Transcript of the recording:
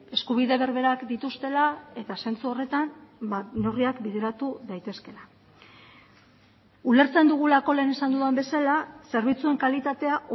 eskubide berberak dituztela eta zentzu horretan neurriak bideratu daitezkeela ulertzen dugulako lehen esan dudan bezala zerbitzuen kalitatea